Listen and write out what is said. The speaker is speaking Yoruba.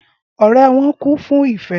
Ọrẹ wọn kún fún ìfẹ́